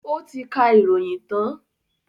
Ó ti kà ìròyìn tán?